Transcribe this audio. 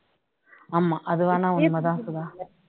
ஆமா அது வேணா உன்மை தான் சுதா